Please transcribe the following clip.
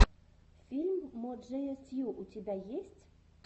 фильм мо джея стью у тебя есть